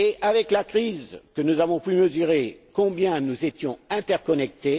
Avec la crise, nous avons pu mesurer combien nous étions interconnectés.